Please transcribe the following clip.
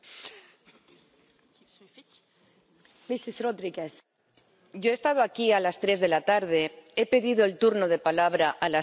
Señora presidenta, yo he estado aquí a las tres de la tarde. He pedido el turno de palabra a las tres de la tarde.